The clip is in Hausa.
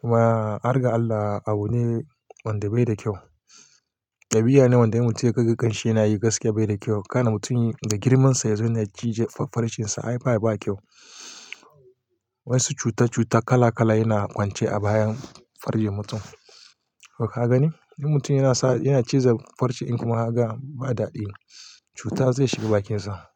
Kuma, har ga Allah abu ne wanda bai da kyau. Ɗabiya ne wanda in mutum ya kaga ƙanshe yanayi gaskiya bai da kyau. Kana mutum da girman sa yazo yana cije farcen sa ai ba kyau. Wasu cuta cuta kala kala yana kwance a bayan farcen mutum. To ka gani? In mutum yana sa, yana ciza farcen in kuma haga ba daɗi, cuta zai shiga bakin sa.